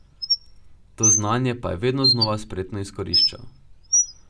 To znanje pa je vedno znova spretno izkoriščal.